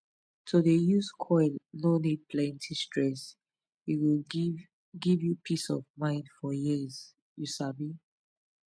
to dey use coil no need plenty stress e go give give you peace of mind for years you sabi.